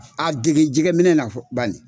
A dege jɛgɛ minɛ na fɔ banni.